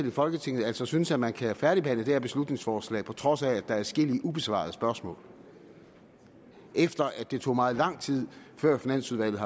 i folketinget altså synes at man kan færdigbehandle det her beslutningsforslag på trods af at er adskillige ubesvarede spørgsmål efter at det tog meget lang tid før finansudvalget